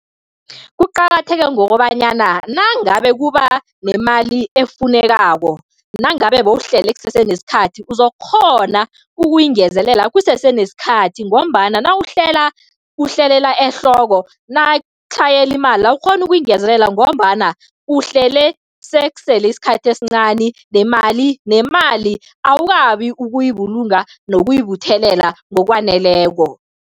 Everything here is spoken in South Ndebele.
Kuqakatheke ngokobanyana nangabe kuba nemali efunekako, nangabe bewuhlele kusese nesikhathi, uzokukghona ukuyingezelela kusese nesikhathi ngombana nawuhlela uhlelela ehloko, nakutlhayela imali awukghone ukuyingezelela ngombana uhlele sekusele isikhathi esincani nemali nemali awukabi ukuyibulunga nokuyibuthelela ngokwaneleko.